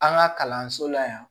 An ka kalanso la yan